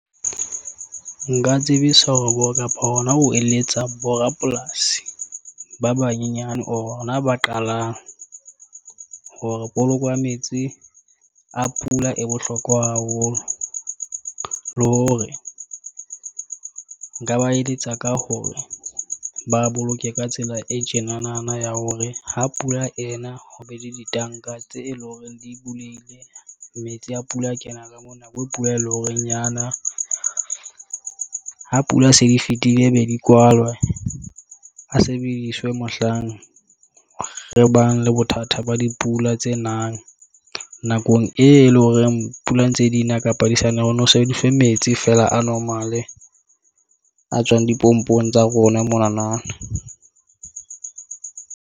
Nka tsebisa hore bo kapa hona ho eletsa bo rapolasi ba banyenyane bona, ba qalang hore poloko ya metsi a pula e bohlokwa haholo. Le hore nka ba eletsa ka hore ba a boloke ka tsela e tjenanana ya hore ha pula ena ho be le ditanka tse e leng hore di bulehile metsi a pula, a kena ka mona bo pula, e leng hore nyana. Ha pula se di fitile, be di kwalwe a sebediswe. Mohlang re bang le bothata ba dipula tse nang, nakong e leng horeng pula ntse di na kapa di sane ho no sebediswe metsi fela a normal-e a tswang dipompong tsa rona monanang.